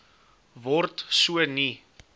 word so nie